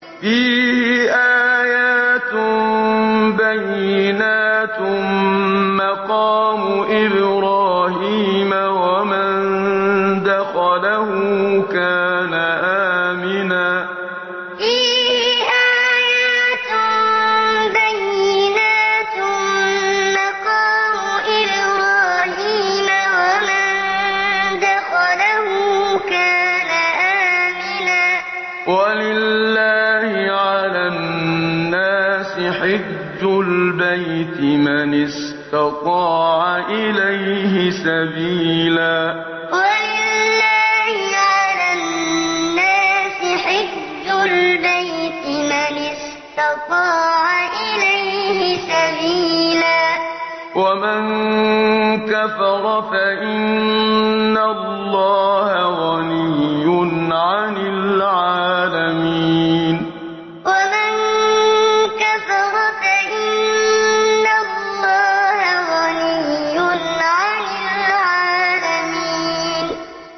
فِيهِ آيَاتٌ بَيِّنَاتٌ مَّقَامُ إِبْرَاهِيمَ ۖ وَمَن دَخَلَهُ كَانَ آمِنًا ۗ وَلِلَّهِ عَلَى النَّاسِ حِجُّ الْبَيْتِ مَنِ اسْتَطَاعَ إِلَيْهِ سَبِيلًا ۚ وَمَن كَفَرَ فَإِنَّ اللَّهَ غَنِيٌّ عَنِ الْعَالَمِينَ فِيهِ آيَاتٌ بَيِّنَاتٌ مَّقَامُ إِبْرَاهِيمَ ۖ وَمَن دَخَلَهُ كَانَ آمِنًا ۗ وَلِلَّهِ عَلَى النَّاسِ حِجُّ الْبَيْتِ مَنِ اسْتَطَاعَ إِلَيْهِ سَبِيلًا ۚ وَمَن كَفَرَ فَإِنَّ اللَّهَ غَنِيٌّ عَنِ الْعَالَمِينَ